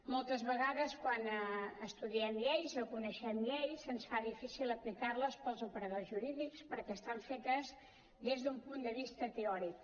moltes vegades quan estudiem lleis o coneixem lleis se’ns fa difícil aplicar les pels operadors jurídics perquè estan fetes des d’un punt de vista teòric